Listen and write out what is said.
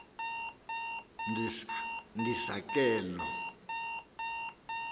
ndisa ke loo